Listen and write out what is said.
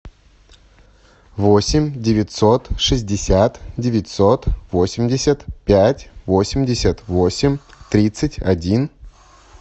восемь девятьсот шестьдесят девятьсот восемьдесят пять восемьдесят восемь тридцать один